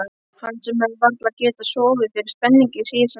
Hann sem hafði varla getað sofið fyrir spenningi síðustu næturnar.